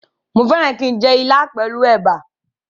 Mo fẹ́ràn kí n jẹ ilá pẹ̀lú ẹ̀bà